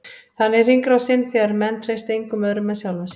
Þannig er hringrásin, þegar menn treysta engum öðrum en sjálfum sér.